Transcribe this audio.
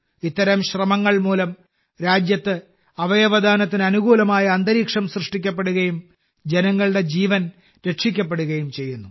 ഇത്തരം ശ്രമങ്ങൾ മൂലം രാജ്യത്ത് അവയവദാനത്തിന് അനുകൂലമായ അന്തരീക്ഷം സൃഷ്ടിക്കപ്പെടുകയും ജനങ്ങളുടെ ജീവൻ രക്ഷിക്കപ്പെടുകയും ചെയ്യുന്നു